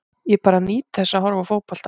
Ég bara nýt þess að horfa á fótbolta.